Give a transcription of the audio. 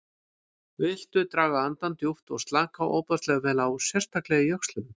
Viltu draga andann djúpt og slaka ofboðslega vel á, sérstaklega í öxlunum.